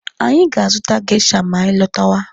Anyị ga-azụta geisha ma anyị lọtawa.